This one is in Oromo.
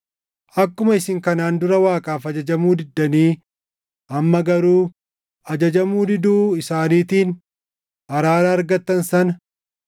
Akkuma isin kanaan dura Waaqaaf ajajamuu diddanii amma garuu ajajamuu diduu isaaniitiin araara argattan sana